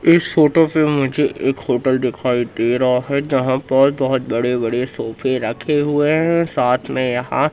इस फोटो पे मुझे एक होटल दिखाई दे रहा है जहां पर बहोत बड़े-बड़े सोफे रखे हुए हैं और साथ में यहां --